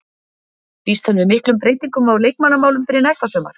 Býst hann við miklum breytingum á leikmannamálum fyrir næsta sumar?